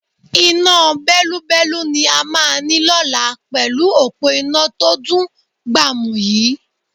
Iná bẹ́lúbẹ́lú ni a máa ní lọ́la pẹ̀lú òpó iná tó dùn gbàmù yii